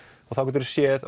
og þá getur þú séð